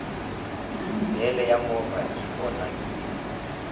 bele ya movha i onhakini